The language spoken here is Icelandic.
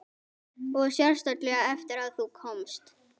Og sérstaklega eftir að þú komst.